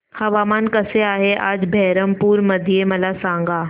हवामान कसे आहे आज बरहमपुर मध्ये मला सांगा